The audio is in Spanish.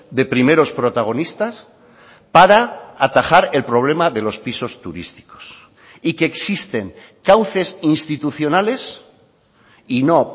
de primeros protagonistas para atajar el problema de los pisos turísticos y que existen cauces institucionales y no